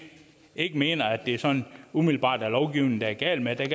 ikke mener at det sådan umiddelbart er lovgivningen det er galt med det